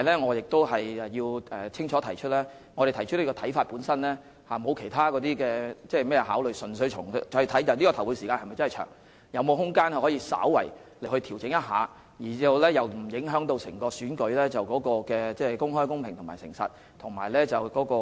我必須清楚指出，我們提出此看法本身並無其他考慮，而是純粹考慮投票時間是否真的偏長，以及是否有空間稍為調整而又不會令選舉無法公開、公平、誠實及有秩序地進行。